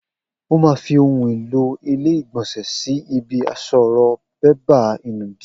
O ma fi ohun èlò ilé ìgbònsè sí ibi àsorò bébà ìnùdí